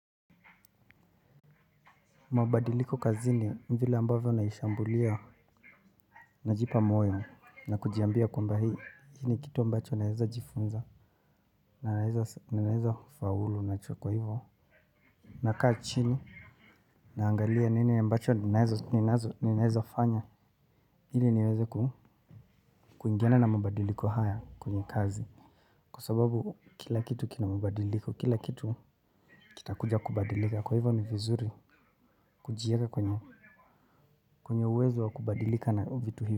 Mabadiliko kazini mvile ambavyo naishambulia. Najipa moyo na kujiambia kwamba hii ni kitu ambacho naezajifunza. Naezafaulu na chukwa hivyo. Nakaa chini. Naangalia nini ambacho naeza fanya. Hili niweze kuingiana na mabadiliko haya kwenye kazi. Kwa sababu kila kitu kinamabadiliko kila kitu kitakuja kubadilika kwa hivyo ni vizuri kujiega kwenye kwenye uwezo wa kubadilika na vitu hivyo.